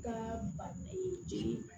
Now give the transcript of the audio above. Ka ba e jeli